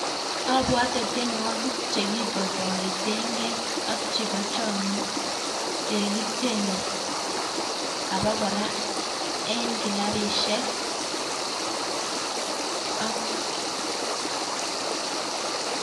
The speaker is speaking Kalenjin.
Abwotee tionwogiik chekiboiboiten keey ak chebo chomiet chekitiene abakora eng kilabisiek